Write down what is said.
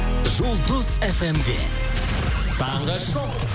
жұлдыз фм де таңғы шоу